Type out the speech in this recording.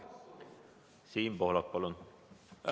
Siim Pohlak, palun!